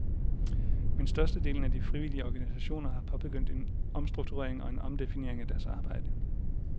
Men størstedelen af de frivillige organisationer har påbegyndt en omstrukturering og en omdefinering af deres arbejde.